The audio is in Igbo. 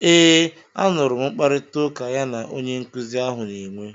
Eeee, a nụrụ m mkparịtaụka ya na onye nkuzi ahụ na-enwe.